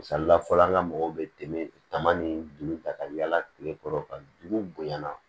Misali la fɔlɔ an ka mɔgɔw bɛ tɛmɛ tama ni juru ta ka yaala tile kɔrɔ ka dugu bonya na